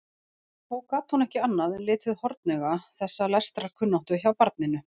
Þó gat hún ekki annað en litið hornauga þessa lestrarkunnáttu hjá barninu.